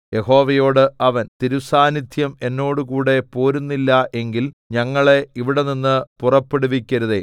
യഹോവയോട് അവൻ തിരുസാന്നിദ്ധ്യം എന്നോടുകൂടെ പോരുന്നില്ല എങ്കിൽ ഞങ്ങളെ ഇവിടെനിന്ന് പുറപ്പെടുവിക്കരുതേ